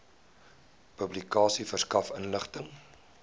publikasie verskaf inligting